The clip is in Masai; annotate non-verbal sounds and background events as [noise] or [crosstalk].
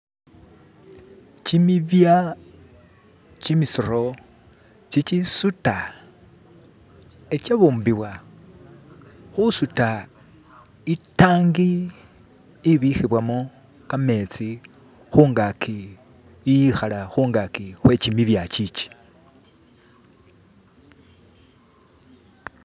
[skip] kyimibya kyimisiro kyikyisuta ikyabumbibwa husuta itangi ibihibwamo kametsi hungaki iyihala hungaki hwekyimibyakyikyi [skip]